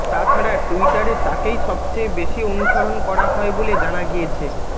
তাছাড়া টুইটারে তাকেই সবচেয়ে বেশি অনুসরণ করা হয় বলে জানা গিয়েছে